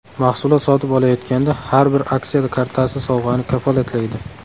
Mahsulot sotib olayotganda har bir aksiya kartasi sovg‘ani kafolatlaydi!